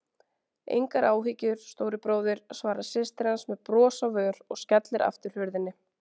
Engar áhyggjur, stóri bróðir, svarar systir hans með bros á vör og skellir aftur hurðinni.